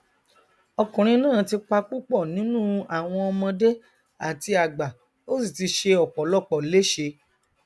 ọkùnrin náà ti pa púpọ núnú àwọn ọmọdé àti àgbà ó sì ti ṣe ọpọlọpọ léṣe